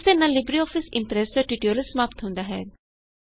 ਇਸ ਦੇ ਨਾਲ ਲਿਬਰੇਆਫਿਸ ਇਮਪ੍ਰੈਸ ਦਾ ਟਯੂਟੋਰਿਅਲ ਸਮਾਪਤ ਹੁੰਦਾ ਹੈ